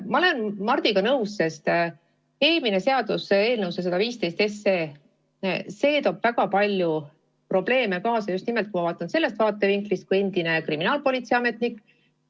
Ma olen Mardiga nõus, sest eelmine seaduseelnõu, see 115, toob kaasa väga palju probleeme, kui ma vaatan seda just nimelt endise kriminaalpolitsei ametniku vaatevinklist.